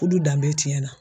Fudu danbe tiɲɛna.